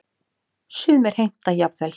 Sumir heimta jafnvel